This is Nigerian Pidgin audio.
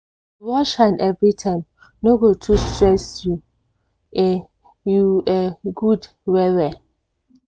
to wash hand everytime no go too stress you e you e good well well.